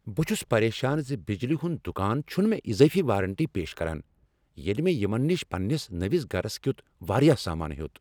بہٕ چھس پریشان ز بجلی ہند دکان چھنہٕ مےٚ اضٲفی وارنٹی پیش کران ییٚلہ مےٚ یمن نش پننس نٔوس گرس کیُت واریاہ سامان ہیوٚت۔